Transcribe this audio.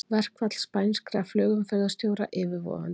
Verkfall spænskra flugumferðarstjóra yfirvofandi